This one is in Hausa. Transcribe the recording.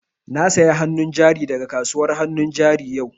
Na saya hannu jari da ga kasuwan hannun jari yau